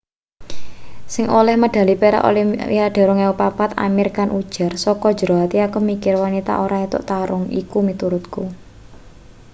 sing oleh medhali perak olimpiade 2004 amir khan ujar saka jero ati aku mikir wanita ora entuk tarung iku miturutku